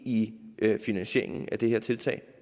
i finansieringen af det her tiltag